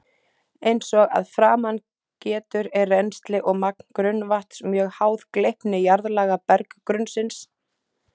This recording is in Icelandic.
Eins og að framan getur er rennsli og magn grunnvatns mjög háð gleypni jarðlaga berggrunnsins.